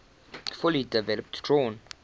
fully developed drawn